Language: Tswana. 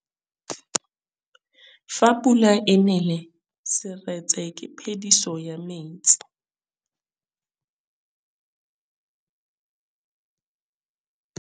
Fa pula e nelê serêtsê ke phêdisô ya metsi.